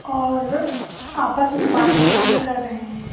और आपस में बातचीत भी कर रहे हैं।